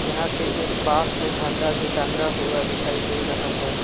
यहां पे एक बांस में झंडा भी टांगा हुआ दिखाई दे रहा है।